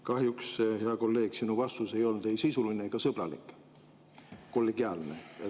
Kahjuks, hea kolleeg, teie vastus ei olnud ei sisuline ega sõbralik, kollegiaalne.